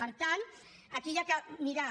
per tant aquí s’ha de mirar